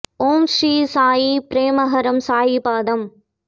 ஓம் ஸ்ரீ சாயி ப்ரேமஹாரம் சாயி பாதம்